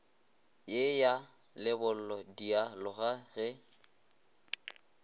ye ya lebollo dialoga ge